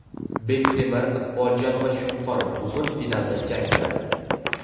Bektemir, Iqboljon va Shunqor bugun finalda jang qiladi.